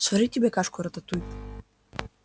сварить тебе кашку-рататуй